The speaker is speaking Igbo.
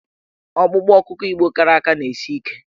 Ọkpụkpụ ọkụkọ Igbo kara aka na-esi ike.